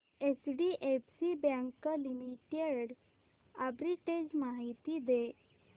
HDFC bank limited arbitrage माहिती दे